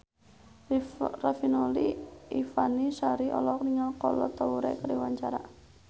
Riafinola Ifani Sari olohok ningali Kolo Taure keur diwawancara